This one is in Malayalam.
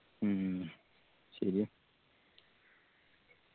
മ്മ് ശെരിയാ